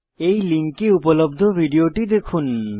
এই লিঙ্কে উপলব্ধ ভিডিও টি দেখুন